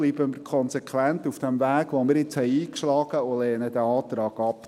Bleiben wir konsequent auf dem eingeschlagenen Weg und lehnen den Antrag ab.